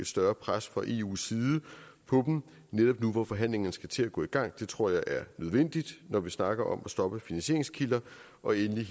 større pres fra eus side på dem netop nu hvor forhandlingerne skal til at gå i gang det tror jeg er nødvendigt når vi snakker om at stoppe finansieringskilder og endelig er